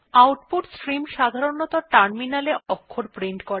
output stream সাধারনতঃ টার্মিনালে অক্ষর প্রিন্ট করে